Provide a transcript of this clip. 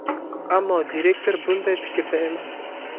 Ammo direktor bunday fikrda emas.